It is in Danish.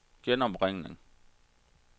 genopringning